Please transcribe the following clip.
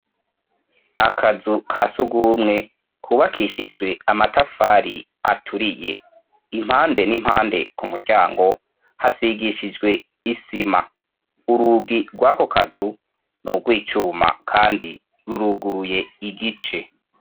akazu ka sugumwe kubakishijwe amatafari aturiye impande n'impande ku muryango hasigishijwe isima urugi rw'ako kazu nugwicuma kandi ruruguruye igice